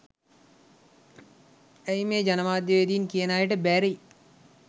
ඇයි මේ ජනමාධ්‍යවේදින් කියන අයට බැරි